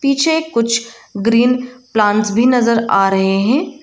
पीछे कुछ green plants भी नजर आ रहे हैं।